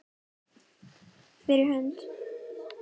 Fyrir hönd.